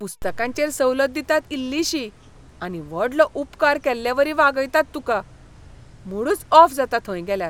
पुस्तकांचेर सवलत दितात इल्लिशी, आनी व्हडलो उपकार केल्लेवरी वागयतात तुका. मूडच ऑफ जाता थंय गेल्यार.